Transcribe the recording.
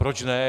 Proč ne?